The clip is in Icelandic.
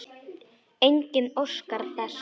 Enginn óskar þess.